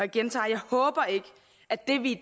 gentager jeg håber ikke at det vi i